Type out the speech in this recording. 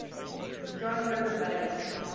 john river valley